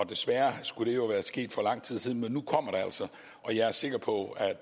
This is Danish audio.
desværre skulle det jo være sket for lang tid siden men nu kommer det altså og jeg er sikker på at